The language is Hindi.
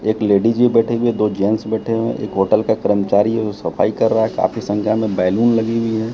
एक लेडिज भी बैठी हुई है दो जेंस बैठे हुए है एक होटल का कर्मचारी है वो सफाई कर रहा है काफी संख्या में बैलून लगी हुई है।